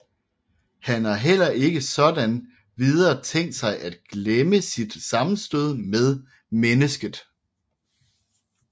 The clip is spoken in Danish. Han har heller ikke sådan videre tænkt sig at glemme sit sammenstød med mennesket